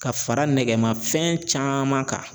Ka fara nɛgɛmafɛn caman kan